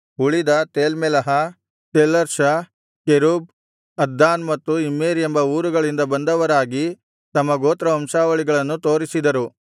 ಉಳಿದ ತೇಲ್ಮೆಲಹ ತೇಲ್ಹರ್ಷ ಕೆರೂಬ್ ಅದ್ದಾನ್ ಮತ್ತು ಇಮ್ಮೇರ್ ಎಂಬ ಊರುಗಳಿಂದ ಬಂದವರಾಗಿ ತಮ್ಮ ಗೋತ್ರವಂಶಾವಳಿಗಳನ್ನು ತೋರಿಸಿದರು